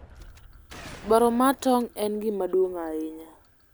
Dwaro mar tong' en gima duong' ahinya.